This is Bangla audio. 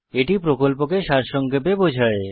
এটি প্রকল্পকে সারসংক্ষেপে বোঝায়